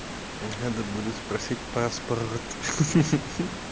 надо будет спросить паспорт ха-ха